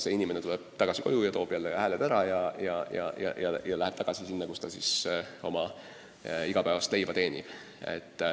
See inimene tuleb tagasi koju, toob jälle hääled ära ja läheb tagasi sinna, kus ta oma igapäevast leiba teenib.